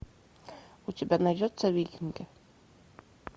у тебя найдется викинги